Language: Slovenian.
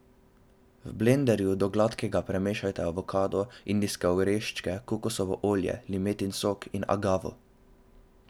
V blenderju do gladkega premešajte avokado, indijske oreščke, kokosovo olje, limetin sok in agavo.